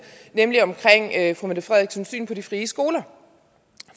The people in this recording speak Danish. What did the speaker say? nemlig om fru mette frederiksens syn på de frie skoler